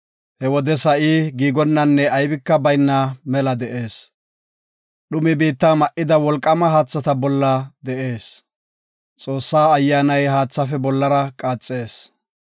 He wode sa7i giigonanne aybika bayna mela de7ees. Dhumi biitta ma77ida wolqaama haathata bolla de7ees. Xoossa Ayyaanay haathaafe bollara qaaxees.